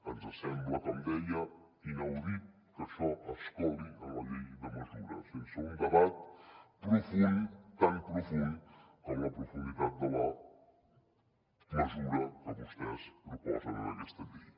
ens sembla com deia inaudit que això es coli en la llei de mesures sense un debat profund tan profund com la profunditat de la mesura que vostès proposen en aquesta llei